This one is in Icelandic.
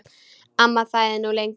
Amma þagði nú lengi, lengi.